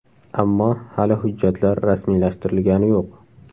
Ammo hali hujjatlar rasmiylashtirilgani yo‘q.